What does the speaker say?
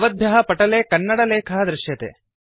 भवद्भ्यः पटले कन्नड लेखः दृश्यते